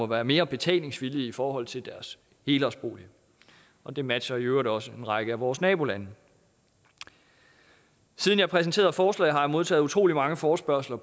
være mere betalingsvillige i forhold til deres helårsbolig og det matcher i øvrigt også en række af vores nabolande siden jeg præsenterede forslaget har jeg modtaget utrolig mange forespørgsler